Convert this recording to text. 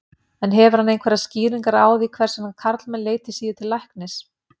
En hefur hann einhverjar skýringar á því hvers vegna karlmenn leiti síður til læknis?